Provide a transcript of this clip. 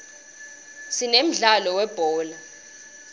sinemdlalo we uulibhola